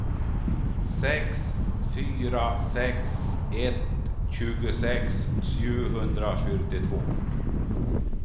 sex fyra sex ett tjugosex sjuhundrafyrtiotvå